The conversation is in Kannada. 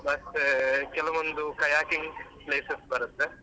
ಮತ್ತೇ ಕೆಲವೊಂದು kayaking places ಬರುತ್ತೆ.